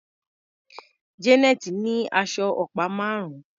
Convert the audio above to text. Janet ní aṣọ ọ̀pá márùn-ún.